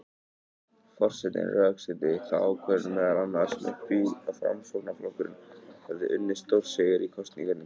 Forsetinn rökstuddi þá ákvörðun meðal annars með því að Framsóknarflokkurinn hefði unnið stórsigur í kosningunum.